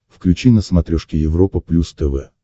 включи на смотрешке европа плюс тв